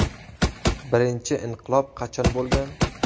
Birinchi inqilob qachon bo‘lgan?